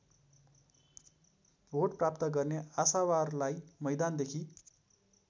vote प्राप्त गर्ने आशावारलाई मैदानदेखि